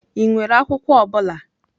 Ị nwere akwụkwọ ọ bụla?